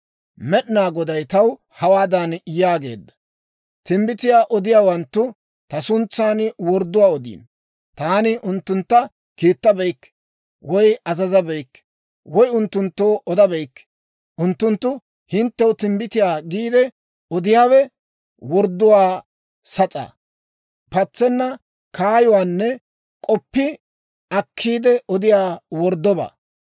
Med'inaa Goday taw hawaadan yaageedda; «Timbbitiyaa odiyaawanttu ta suntsan wordduwaa odiino. Taani unttuntta kiittabeykke, woy azazabeykke, woy unttunttoo odabeykke. Unttunttu hinttew timbbitiyaa giide odiyaawe wordduwaa sas'aa, patsenna kaayuwaanne k'oppi akkiide odiyaa worddobaa.